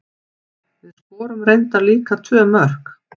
Við skorum reyndar líka tvö mörk.